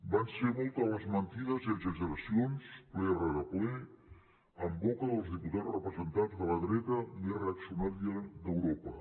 van ser moltes les mentides i exageracions ple rere ple en boca dels diputats representants de la dreta més reaccionària d’europa